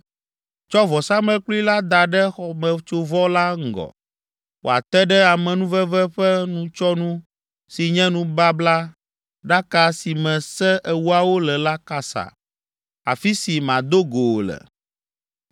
Tsɔ vɔsamlekpui la da ɖe xɔmetsovɔ la ŋgɔ, wòate ɖe amenuveve ƒe nutsyɔnu si nye nubablaɖaka si me Se Ewoawo le la kasa, afi si mado go wò le.